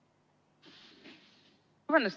Vabandust!